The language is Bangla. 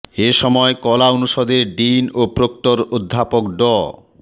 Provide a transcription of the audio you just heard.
এ সময় কলা অনুষদের ডিন ও প্রক্টর অধ্যাপক ড